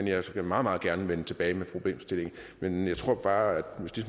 jeg skal meget meget gerne vende tilbage til problemstillingen men jeg tror bare at